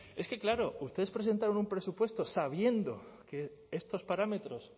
es que claro ustedes presentaron un presupuesto sabiendo que estos parámetros